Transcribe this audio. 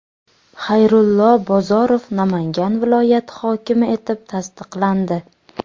Xayrullo Bozorov Namangan viloyati hokimi etib tasdiqlandi.